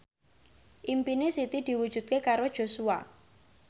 impine Siti diwujudke karo Joshua